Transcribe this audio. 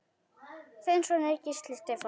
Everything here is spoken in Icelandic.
Þinn sonur, Gísli Stefán.